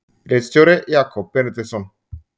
Ritstjóri Jakob Benediktsson.